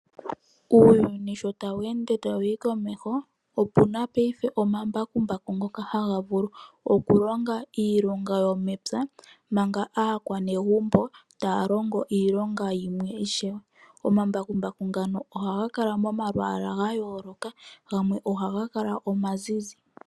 Uuyuni sho tawu ende tawuyi komeho opuna payife omambakumbaku ngoka haga vulu okulonga iilonga yomepywa. Manga aakwanegumbo taalongo iilonga yimwe ishewe. Omambakumbaku ngano ohaga kala momalwaala gayooloka gamwe ohaga kala omazizi.